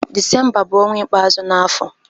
Disemba bu onwa ikpeazu n'afo